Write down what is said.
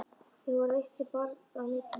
Þó var eitt sem bar á milli.